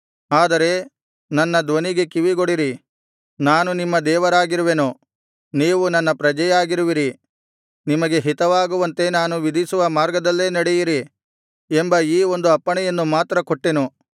ಆದರೆ ನನ್ನ ಧ್ವನಿಗೆ ಕಿವಿಗೊಡಿರಿ ನಾನು ನಿಮ್ಮ ದೇವರಾಗಿರುವೆನು ನೀವು ನನ್ನ ಪ್ರಜೆಯಾಗಿರುವಿರಿ ನಿಮಗೆ ಹಿತವಾಗುವಂತೆ ನಾನು ವಿಧಿಸುವ ಮಾರ್ಗದಲ್ಲೇ ನಡೆಯಿರಿ ಎಂಬ ಈ ಒಂದು ಅಪ್ಪಣೆಯನ್ನು ಮಾತ್ರ ಕೊಟ್ಟೆನು